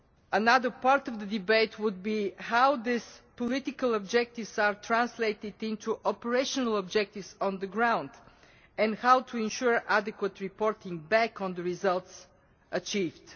Another part of the debate would be how these political objectives are translated into operational objectives on the ground and how to ensure adequate reporting back on the results achieved.